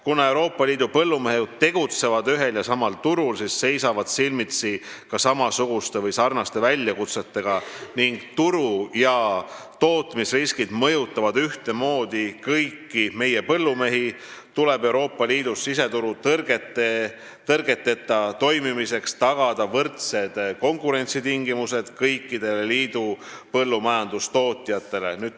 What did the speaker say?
Kuna Euroopa Liidu põllumehed tegutsevad ühel ja samal turul, siis seisavad nad silmitsi ka samasuguste või sarnaste väljakutsetega ning turu- ja tootmisriskid mõjutavad ühtemoodi kõiki meie põllumehi, seega tuleb Euroopa Liidus siseturu tõrgeteta toimimiseks tagada võrdsed konkurentsitingimused kõikidele liidu põllumajandustootjatele.